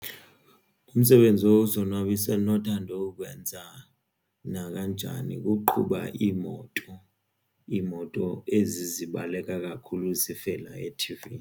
Umsebenzi wozonwabisa endonothanda uwenza nakanjani kukuqhuba iimoto. Iimoto ezi zibaleka kakhulu zivela ethivini.